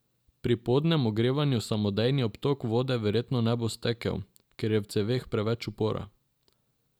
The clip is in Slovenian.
Pri podnem ogrevanju samodejni obtok vode verjetno ne bo stekel, ker je v ceveh preveč upora.